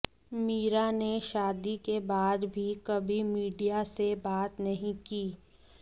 मीरा ने शादी के बाद भी कभी मीडिया से बात नहीं की